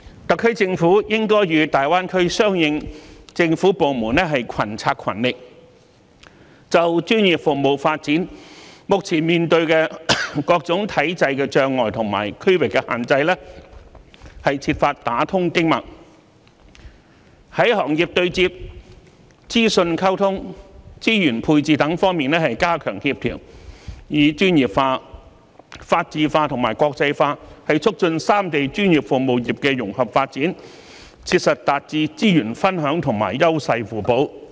特區政府應該與大灣區相關政府部門群策群力，就專業服務發展目前面對的各種體制障礙和區劃限制，設法打通經脈，在行業對接、資訊溝通、資源配置等方面加強協調，以專業化、法治化和國際化促進三地專業服務業融合發展，切實達致資源分享和優勢互補。